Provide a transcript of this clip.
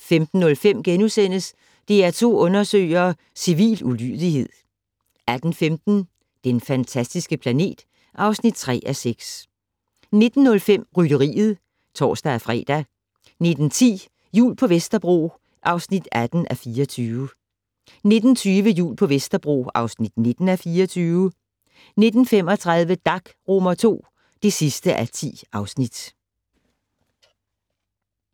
15:05: DR2 Undersøger: Civil ulydighed * 18:15: Den fantastiske planet (3:6) 19:05: Rytteriet (tor-fre) 19:10: Jul på Vesterbro (18:24) 19:20: Jul på Vesterbro (19:24) 19:35: Dag II (10:10)